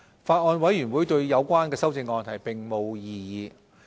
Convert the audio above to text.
法案委員會對有關修正案並無異議。